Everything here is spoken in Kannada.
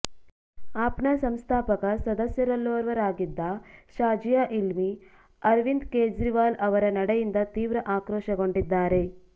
ಆಪ್ನ ಸಂಸ್ಥಾಪಕ ಸದಸ್ಯರಲ್ಲೋರ್ವರಾಗಿದ್ದ ಶಾಜಿಯಾ ಇಲ್ಮಿ ಅರವಿಂದ ಕೇಜ್ರಿವಾಲ್ ಅವರ ನಡೆಯಿಂದ ತೀವ್ರ ಆಕ್ರೋಶಗೊಂಡಿದ್ದಾರೆ